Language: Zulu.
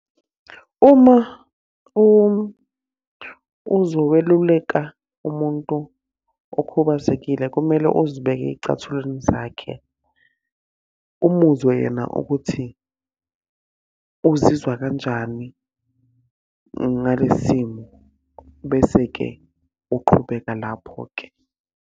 Uma uzoweluleka umuntu okhubazekile kumele uzibeke ey'cathulweni zakhe. Umuzwa yena ukuthi, uzizwa kanjani ngalesi simo. Bese-ke uqhubeka lapho-ke.